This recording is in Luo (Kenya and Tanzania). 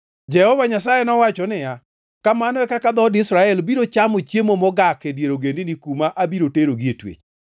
Jehova Nyasaye nowacho niya, “Kamano e kaka dhood Israel biro chamo chiemo mogak e dier ogendini kuma abiro terogie twech.”